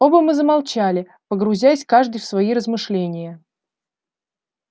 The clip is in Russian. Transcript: оба мы замолчали погрузясь каждый в свои размышления